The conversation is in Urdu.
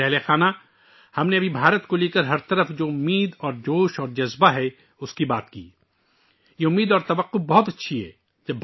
میرے پریوار جنو، ہم نے صرف ہندوستان کے بارے میں اس امید اور جوش کے بارے میں بات کی ہے جو ہر جگہ پھیلی ہوئی ہے یہ امید اور توقع بہت اچھی ہے